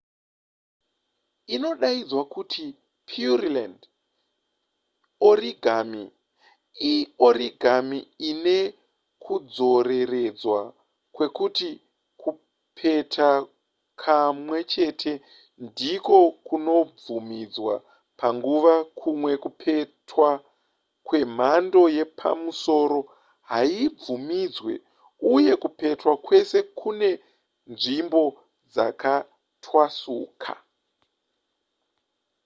inodaidzwa kuti pureland origami iorigami ine kudzoreredzwa kwekuti kupeta kamwechete ndiko kunobvumidzwa panguva kumwe kupetwa kwemhando yepamusoro hazvibvumidzwe uye kupetwa kwese kune nzvimbo dzakatwasuka